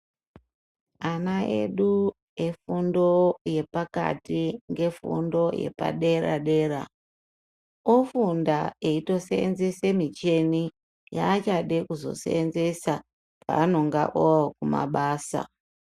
Ana edu efundo yepakati, ngefundo yepadera-dera ,ofunda eitoseenzese micheni, yaachade kuzoseenzesa, pavanonga ookumabasa.